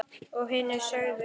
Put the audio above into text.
Og hinir sögðu